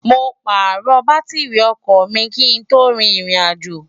mo pààrọ̀ bátírrì ọkọ̀ mi kí n tó rin irìnàjò